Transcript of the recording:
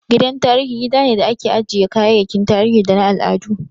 Gidan tarihi gida ne da ake ajjiye kayayyakin tarihi da na al'adu